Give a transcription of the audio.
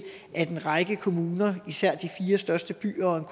at en række kommuner især i de fire største byer